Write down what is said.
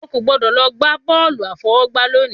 O ò gbọ́dọ̀ lọ gbá bọ́ọ̀lù àfọwọ́gbá lónìí